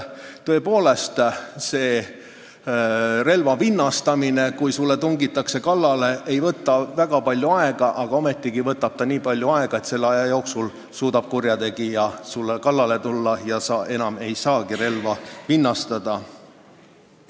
Tõepoolest, relva vinnastamine, kui sulle tungitakse kallale, ei võta väga palju aega, aga ometigi võtab see nii palju aega, et selle aja jooksul suudab kurjategija sulle kallale tulla ja sa enam ei saagi relva vinnastada.